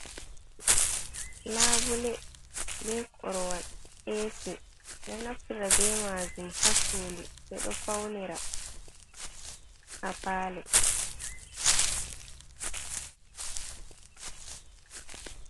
Labule, be korowal, esi ɗo naftira be majun ha sudu, ɓeɗo faunira ha palo.